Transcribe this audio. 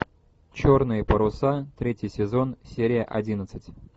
черные паруса третий сезон серия одиннадцать